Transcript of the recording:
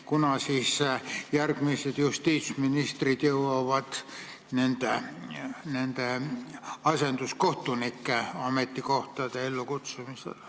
Kunas siis järgmised justiitsministrid jõuavad nende asenduskohtunike ametikohtade ellukutsumiseni?